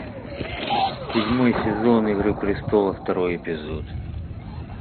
седьмой сезон игры престолов второй эпизод